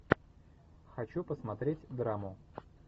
хочу посмотреть драму